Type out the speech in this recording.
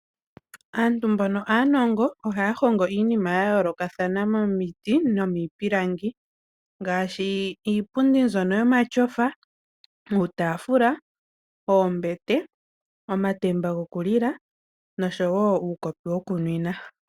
Aantu mbono aanongo ohaya hongo iinima ya yoolokathana momiti nomiipilangi, ngaashi iipundi mbyono yopashinanena, uutafuula, oombete, omatemba gokulila nosho woo uukopi wokunwina.